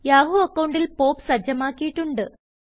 Yahoo അക്കൌണ്ടിൽ POP സജ്ജമാക്കിയിട്ടുണ്ട്